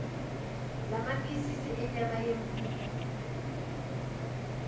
lamaphisisi enyama yenkukhu